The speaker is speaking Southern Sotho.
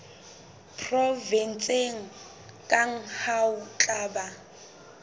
provenseng kang ho tla ba